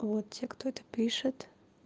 вот те кто это пишет